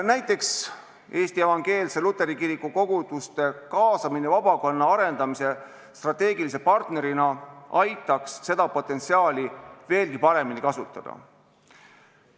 Näiteks Eesti Evangeelse Luteri Kiriku koguduste kaasamine vabakonna arendamisse strateegilise partnerina aitaks seda potentsiaali veelgi paremini ära kasutada.